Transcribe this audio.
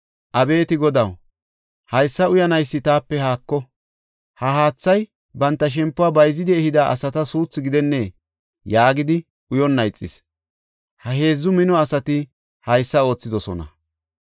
“Abeeti Godaw, haysa uyanaysi taape haako! Ha haatha banta shempuwa bayzidi ehida asata suuthu gidennee?” yaagidi uyonna ixis. Ha heedzu mino asati haysa oothidosona.